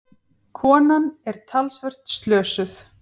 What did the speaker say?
Konan er talsvert slösuð.